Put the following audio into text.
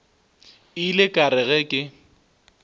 ile ka re ge ke